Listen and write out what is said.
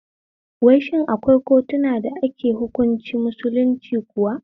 Wai shin akwai kotuna da ake hunkunci musulunci kuwa?